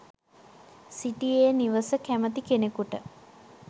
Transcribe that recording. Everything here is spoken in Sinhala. සිටි ඒ නිවස කැමති කෙනෙකුට